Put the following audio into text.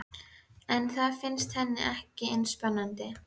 En það finnst henni ekki eins spennandi.